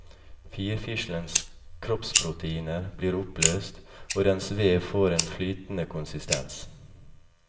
Firfislens kroppsproteiner blir oppløst, og dens vev får en flytende konsistens.